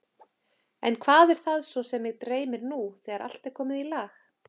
En hvað er það svo sem mig dreymir, nú þegar allt er komið í lag?